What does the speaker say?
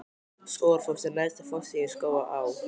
Skógafoss er neðsti fossinn í Skógaá.